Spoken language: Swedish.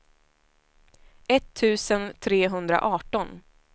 etttusen trehundraarton